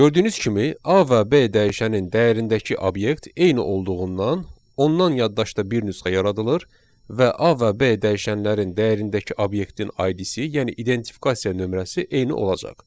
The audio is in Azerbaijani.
Gördüyünüz kimi, A və B dəyişənin dəyərindəki obyekt eyni olduğundan, ondan yaddaşda bir nüsxə yaradılır və A və B dəyişənlərin dəyərindəki obyektin ID-si, yəni identifikasıya nömrəsi eyni olacaq.